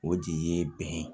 O de ye bɛn ye